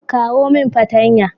kawo min patanya